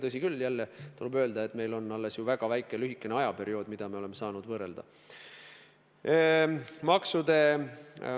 Tõsi küll, jälle tuleb öelda, et meil on seljataga alles väga lühike ajaperiood, mida me oleme saanud võrrelda.